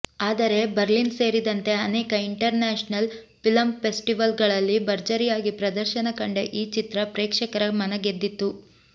ಆದರೆ ಬರ್ಲಿನ್ ಸೇರಿದಂತೆ ಅನೇಕ ಇಂಟರ್ನ್ಯಾಷನಲ್ ಫಿಲಂ ಫೆಸ್ಟಿವಲ್ ಗಳಲ್ಲಿ ಭರ್ಜರಿಯಾಗಿ ಪ್ರದರ್ಶನ ಕಂಡ ಈ ಚಿತ್ರ ಪ್ರೇಕ್ಷಕರ ಮನಗೆದ್ದಿತ್ತು